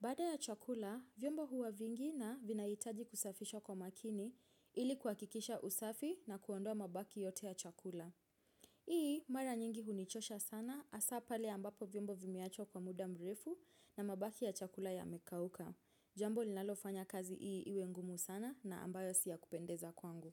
Baada ya chakula, vyombo huwa vingi na vinahitaji kusafishwa kwa makini ili kuhakikisha usafi na kuondoa mabaki yote ya chakula. Hii, mara nyingi hunichosha sana hasa pale ambapo vyombo vimeachwa kwa muda mrefu na mabaki ya chakula yamekauka. Jambo linalofanya kazi ii iwe ngumu sana na ambayo si yakupendeza kwangu.